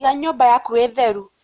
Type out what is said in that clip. Iga nyũmba yaku ĩtheru.